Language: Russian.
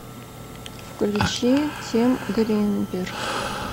включи тим гринберг